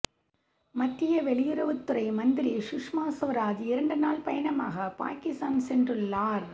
மத்திய வெளியுறவுத் துறை மந்திரி சுஷ்மா சுவராஜ் இரண்டு நாள் பயணமாக பாகிஸ்தான் சென்றுள்ளார்